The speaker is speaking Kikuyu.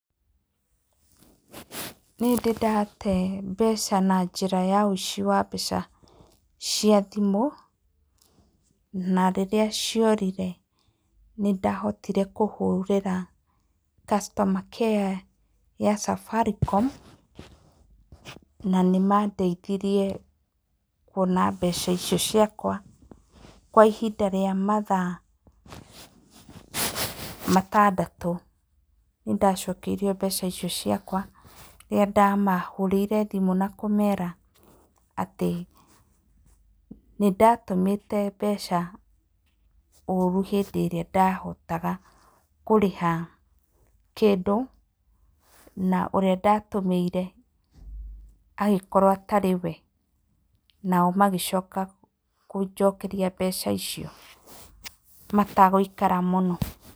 Nĩ ndĩ ndate mbeca na njĩra ya ũici wa mbeca cia thimũ na rĩrĩa ciorire nĩ ndahotire kũhũrĩra customer care ya Safaricom na nĩ mandeithirie kuona mbeca icio ciakwa kwa ihinda rĩa mathaa matandatũ. Nĩ ndacokeirio mbeca icio ciakwa rĩrĩa ndamahũrĩire thimũ na kũmera atĩ nĩ ndatũmĩte mbeca ũũru hĩndĩ ĩrĩa ndahotaga kũrĩha kĩndũ, na ũrĩa ndatũmĩire agĩkorwo atarĩ we, nao magĩcoka kũnjokeria mbeca icio matagũikara mũno.